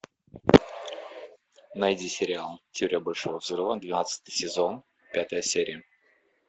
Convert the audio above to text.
найди сериал теория большого взрыва двенадцатый сезон пятая серия